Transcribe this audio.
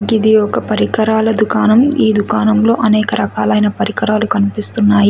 గిది ఒక పరికరాల దుకాణం ఈ దుకాణం లో అనేక రకాలైన పరికరాలు కనిపిస్తున్నాయి.